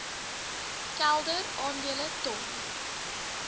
kelder aandele ton